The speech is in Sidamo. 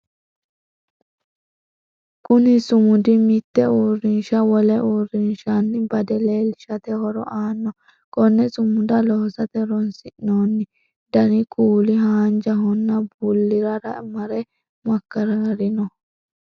Kunni sumudi mite uurinsha wole uurinshanni bade leelishate horo aano. Konne sumuda loosate horoonsi'noonni danni kuuli haanjahonna bulirara mare makaraarinoho.